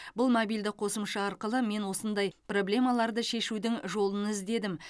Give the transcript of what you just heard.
бұл мобильді қосымша арқылы мен осындай проблемаларды шешудің жолын іздедім